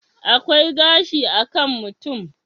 akwai gashi a kan mutum